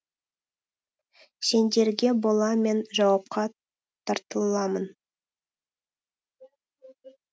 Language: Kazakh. сендерге бола мен жауапқа тартыламын